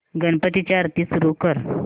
गणपती ची आरती सुरू कर